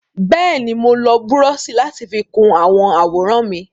Bẹ́ẹ̀ni, mo lo búrọ́ọ̀ṣì láti fi kun àwọn àwòrán mi.